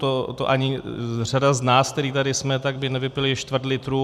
To ani řada z nás, kteří tady jsme, tak by nevypili čtvrt litru.